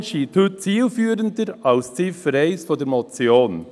Sein Vorgehen scheint heute zielführender als die Ziffer 1 der Motion.